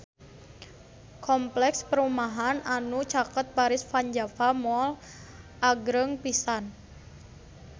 Kompleks perumahan anu caket Paris van Java Mall agreng pisan